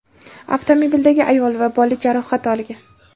Avtomobildagi ayol va bola jarohat olgan.